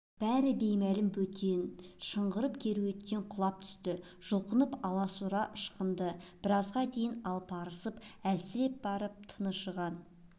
бәрі беймәлім бөтен шыңғырып кереуеттен құлап түсті жұлқынып аласұра ышқынды біразға дейін арпалысып әлсіреп барып тыншыған